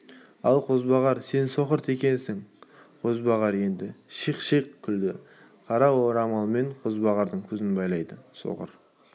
ал қозбағар сен соқыр текесің қозбағар енді шиқ-шиқ күлді қара орамалмен қозбағардың көзін байлады соқыр